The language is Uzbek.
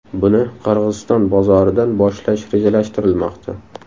Buni Qirg‘iziston bozoridan boshlash rejalashtirilmoqda.